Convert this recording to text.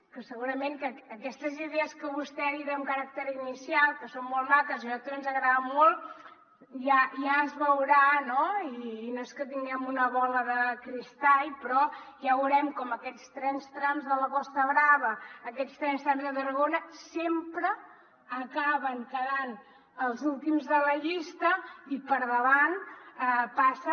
que segurament que aquestes idees que vostè ha dit amb caràcter inicial que són molt maques i a nosaltres ens agraden molt ja es veurà no i no és que tinguem una bola de cristall però ja veurem com aquests trens trams de la costa brava aquests trens trams a tarragona sempre acaben quedant els últims de la llista i per davant passa